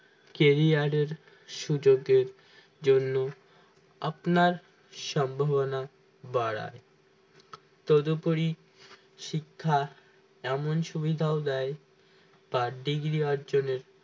career এর সুযোগের জন্য আপনার সম্ভাবনা বাড়ায় তো তদোপরি শিক্ষা এমন সুবিধাও দেয় তার degree অর্জনের